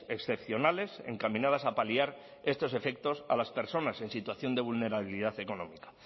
excepcionales encaminadas a paliar estos efectos a las personas en situación de vulnerabilidad económica